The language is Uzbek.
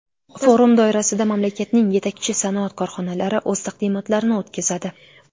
Forum doirasida mamlakatning yetakchi sanoat korxonalari o‘z taqdimotlarini o‘tkazadi.